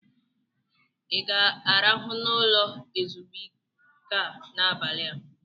ị ga-arahụ n'ụlọ ezumike a n'abalị a?